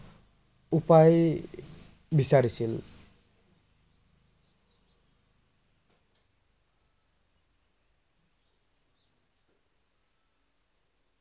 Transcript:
উপায় বিচাৰিছিল।